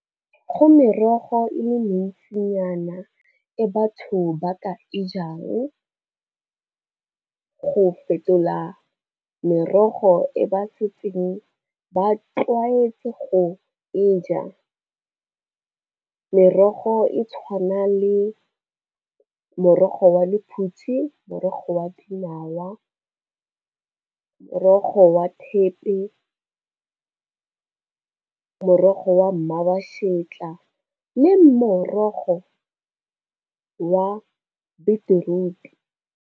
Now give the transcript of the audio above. Go merogo e le mentsinyana e batho ba ka e jang, go fetola merogo e ba setseng ba tlwaetse go e ja. Merogo e tshwana le morogo wa lephutsi, morogo wa dinawa, morogo wa thepe, morogo wa mmabashetla le morogo wa beetroot-e.